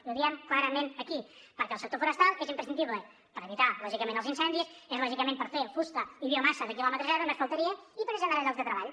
i ho diem clarament aquí perquè el sector forestal és imprescindible per evitar lògicament els incendis és lògicament per fer fusta i biomassa de quilòmetre zero només faltaria i per generar llocs de treball